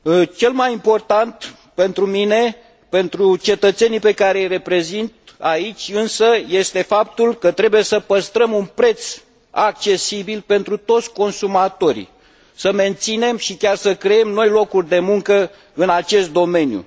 Cel mai important pentru mine, pentru cetățenii pe care i reprezint aici este însă faptul că trebuie să păstrăm un preț accesibil pentru toți consumatorii, să menținem și chiar să creăm noi locuri de muncă în acest domeniu.